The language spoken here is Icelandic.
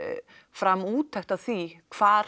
fram úttekt á því hvar